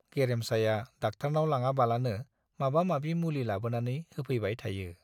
गेरेमसाया डाक्टारनाव लाङाबालानो माबा माबि मुलि लाबोनानै होफैबाय थायो।